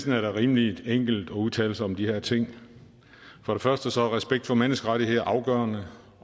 er det rimelig enkelt at udtale sig om de her ting for det første er respekt for menneskerettigheder afgørende